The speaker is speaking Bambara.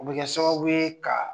U bɛ kɛ sababu ye ka